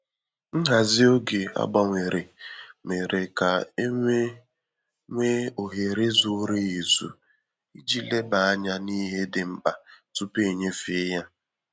Nhazi oge a gbanwere mere ka e nwee nwee ohere zuru ezu iji leba anya n’ihe dị mkpa tupu e nyefee ya